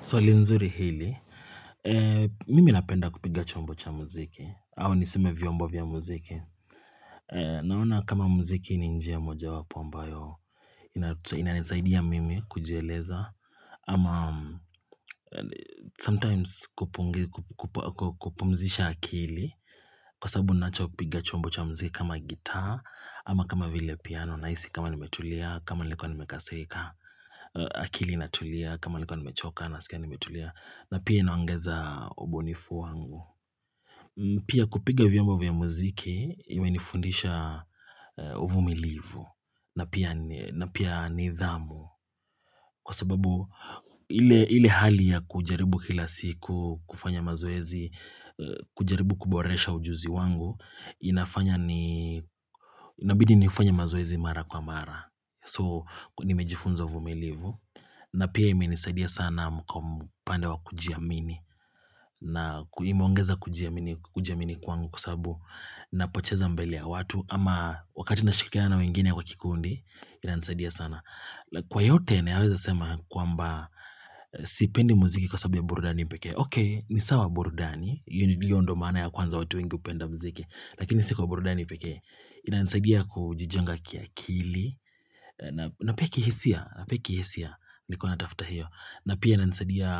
Swali nzuri hili, mimi napenda kupiga chombo cha muziki, au niseme vyombo vya muziki. Naona kama muziki ni njia moja wapo ambayo, inanisaidia mimi kujieleza ama sometimes kupumzisha akili kwa sababu ninacho kupiga chombo cha muziki kama gitaa ama kama vile piano. Nahisi kama nimetulia, kama nilikuwa nimekasirika akili inatulia, kama nilikuwa nimechoka na sikia nimetulia na pia inaongeza ubunifu wangu. Pia kupiga vyombo vya muziki imenifundisha uvumilivu. Na pia nithamu kwa sababu ile ile hali ya kujaribu kila siku kufanya mazoezi kujaribu kuboresha ujuzi wangu inafanya ni inabidi nifanye mazoezi mara kwa mara. So nimejifunza uvumilivu. Na pia imenisaidia sana kwa upande wa kujiamini. Na imeongeza kujiamini kujiamini kwangu kwa sababu napocheza mbele ya watu ama wakati nashirikiana na wengine kwa kikundi inanisaidia sana. Kwa yote na yaweza sema kwamba sipendi muziki kwa sababu ya burudani peke yake. Ok, nisawa burudani hiyo ndiyo maana ya kwanza watu wengi hupenda muziki. Lakini si kwa burudani pekee. Inanisaidia kujijenga kiakili na pia kihisia na pia kihisia. Nilikuwa natafuta hiyo. Na pia inanisaidia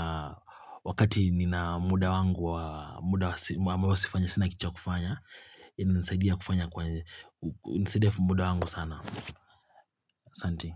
wakati nina muda wangu wa muda ambao sinakitu cha kufanya inanisadia kufanya kwa inasaidia muda wangu sana asante.